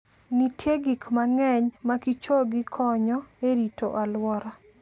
Nitie gik mang'eny makichogi konyo e rito alwora.